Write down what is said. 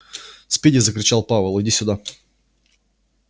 спиди закричал пауэлл иди сюда